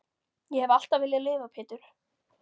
Ég hef alltaf viljað lifa Pétur.